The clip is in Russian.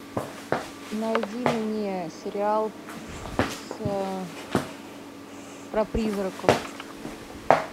найди мне сериал с про призраков